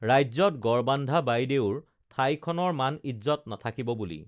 ৰাজ্যত গড় বান্ধা বাইদেউৰ ঠাইখনৰ মান ইজ্জ্বত নাথাকিব বুলি